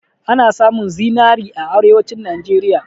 Ana samun zinari a arewanci Najeriya